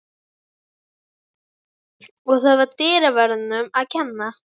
Og það var dyraverðinum að kenna.